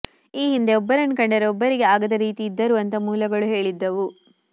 ಈ ಹಿಂದೆ ಒಬ್ಬರನ್ನ ಕಂಡರೆ ಒಬ್ಬರಿಗೆ ಆಗದ ರೀತಿ ಇದ್ದರು ಅಂತ ಮೂಲಗಳು ಹೇಳಿದ್ದವು